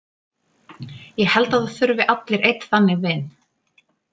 Ég held að það þurfi allir einn þannig vin.